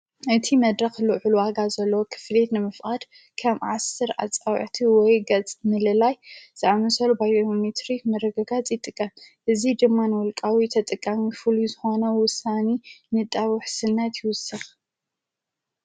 እቲ መድረኽ ሉሕ ልዋጋ ዘለዎ ኽፍልት ንምፍኣድ ከም ዓሠር ኣፃውዐቲ ወይ ገጽ ምልላይ ዝኣምሰሎ ባይኒትሪ መረገጋ ጽጥቀ እዙ ድማን ወልቃዊ ተጥቃሚ ፉሉዩ ዝሆነ ውሳኒ ንጣዊሕስልነት ይውስኽ ።